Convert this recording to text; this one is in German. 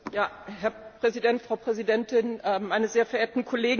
Herr Präsident, Frau Präsidentin, meine sehr verehrten Kollegen!